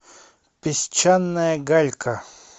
песчаная галька